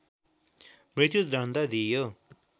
मृत्युदण्ड दिइयो